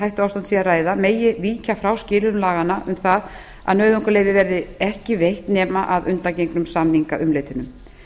hættuástand sé að ræða megi víkja frá skilyrðum laganna um það að nauðungarleyfi verði ekki veitt nema að undangengnum samningaumleitunum